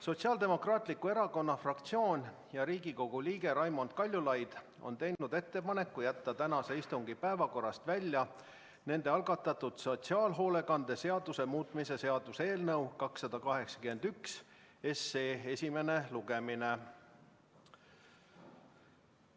Sotsiaaldemokraatliku Erakonna fraktsioon ja Riigikogu liige Raimond Kaljulaid on teinud ettepaneku jätta tänase istungi päevakorrast välja nende algatatud sotsiaalhoolekande seaduse muutmise seaduse eelnõu 281 esimene lugemine.